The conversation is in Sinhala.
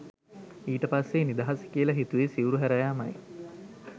ඊට පස්සේ නිදහස කියල හිතුවෙ සිවුරු හැරයාමයි